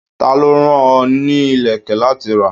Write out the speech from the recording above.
Ta ló rán ọ ní ilẹ̀kè láti rà?